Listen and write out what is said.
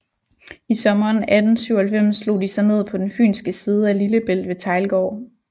I sommeren 1897 slog de sig ned på den fynske side af Lillebælt ved Teglgård